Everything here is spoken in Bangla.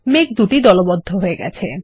মেঘগুলি দলবদ্ধ হয়ে গেছে